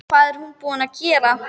Hvað er hún búin að gera!